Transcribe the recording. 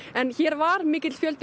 en hér var mikill fjöldi